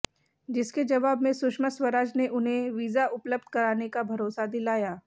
जिसके जवाब में सुषमा स्वराज ने उन्हें विजा उपलब्ध कराने का भरोसा दिलाया